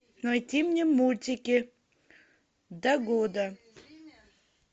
найти мне мультики до года